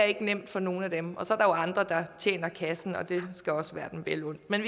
ikke nemt for nogen af dem og så andre der tjener kassen og det skal også være dem vel undt men